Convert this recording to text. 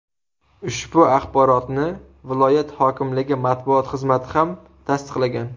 Ushbu axborotni viloyat hokimligi matbuot xizmati ham tasdiqlagan.